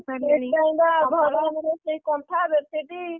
ଘରେ ଆମର ସେଇ କନ୍ଥା, bedsheet